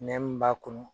Nɛ mun b'a kɔnɔ